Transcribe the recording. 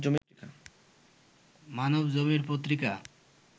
Manabzamin Patrika